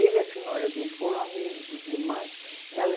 Ele e a senhora dele foram amigos demais.